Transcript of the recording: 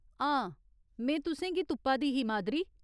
हां, में तुसेंगी तुप्पा दी ही, मादरी।